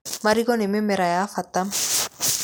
Marigũ nĩ mĩmera ya bata.